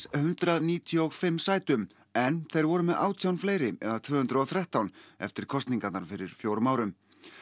hundrað níutíu og fimm sætum en þeir voru með átján fleiri eða tvö hundruð og þrettán eftir kosningarnar fyrir fjórum árum